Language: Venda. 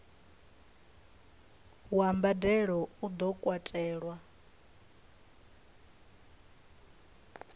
wa mbadelo u do katelwa